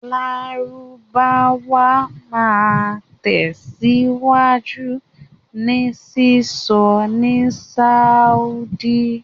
Lárúbáwá máa tẹ̀síwájú ní sísọ ní Sáúdí.